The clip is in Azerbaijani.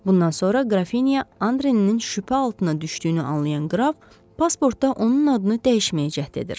Bundan sonra Qrafinya Andreinin şübhə altına düşdüyünü anlayan qraf pasportda onun adını dəyişməyə cəhd edir.